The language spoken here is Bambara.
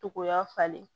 Togoya falen